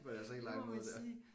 På deres helt egen måde dér